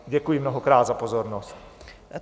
Děkuji mnohokrát za pozornost.